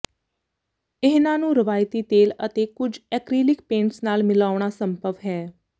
ਇਹਨਾਂ ਨੂੰ ਰਵਾਇਤੀ ਤੇਲ ਅਤੇ ਕੁਝ ਐਕ੍ਰੀਲਿਕ ਪੇਂਟਸ ਨਾਲ ਮਿਲਾਉਣਾ ਸੰਭਵ ਹੈ